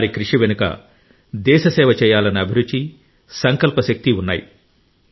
వారి కృషి వెనుక దేశ సేవ చేయాలన్న అభిరుచి సంకల్ప శక్తి ఉన్నాయి